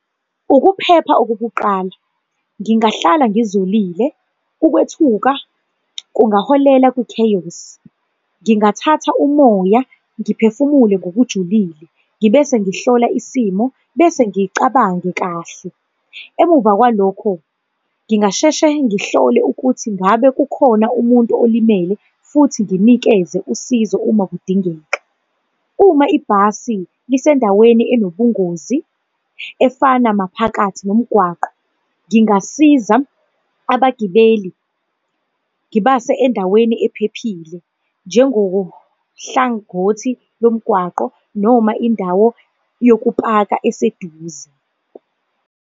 Ukuphepha okokuqala, ngingahlala ngizolile, ukwethuka kungaholela kwi-chaos. Ngingathatha umoya, ngiphefumule ngokujulile, ngibe sengihlola isimo, bese ngiyicabange kahle. Emuva kwalokho, ngingasheshe ngihlole ukuthi ngabe kukhona umuntu olimele, futhi nginikeze usizo uma kudingeka. Uma ibhasi lisendaweni enobungozi, efana maphakathi nomgwaqo, ngingasiza abagibeli, ngibase endaweni ephephile njengohlangothi lomgwaqo noma indawo yokupaka eseduze.